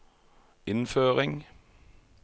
innføring